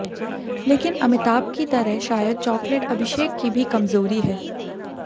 लेकिन अमिताभ की तरह शायद चॉकलेट अभिषेक की भी कमजोरी है